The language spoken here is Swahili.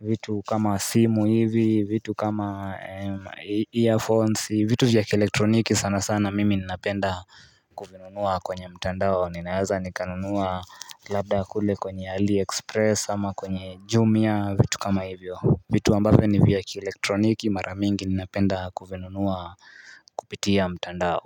vitu kama simu hivi vitu kama earphones vitu vya kielektroniki sana sana mimi ninapenda kuvinunua kwenye mtandao ninaeza nikanunua labda kule kwenye ali express ama kwenye jumia vitu kama hivyo vitu ambavyo ni vya kielektroniki maramingi ninapenda kuvinunua kupitia mtandao.